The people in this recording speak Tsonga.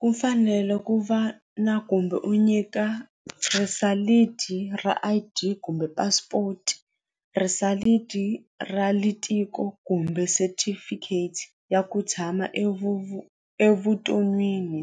Ku fanele ku va na kumbe u nyika ra I_D kumbe passport ra kumbe certificate ya ku tshama evuton'wini